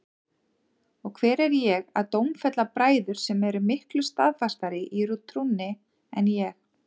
Og hver er ég að dómfella bræður sem eru miklu staðfastari í trúnni en ég?